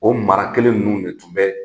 O mara kelen ninnu de tun bɛ